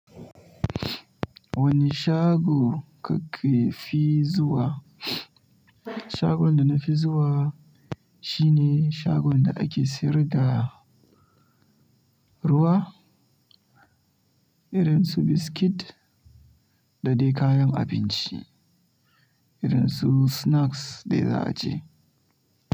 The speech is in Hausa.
Wani shago kake fi zuwa? Shagon da na fi zuwa shine shagon da ake siyar da ruwa, irin su biskit da dai kayan abinci irin su snacks dai za a ci.